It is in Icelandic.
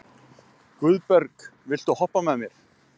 Guðberg, viltu hoppa með mér?